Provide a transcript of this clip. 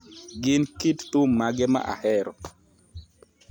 Gin kit thum mage ma ahero